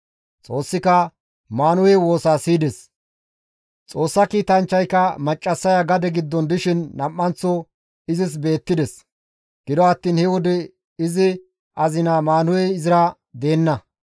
Xoossika Maanuhe woosaa siyides. Xoossa kiitanchchayka Maccassaya gade giddon dishin nam7anththo izis beettides; gido attiin he wode izi azina Maanuhey izira deenna.